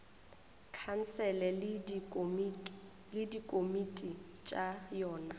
khansele le dikomiti tša yona